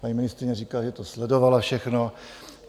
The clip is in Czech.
Paní ministryně říká, že to sledovala všechno.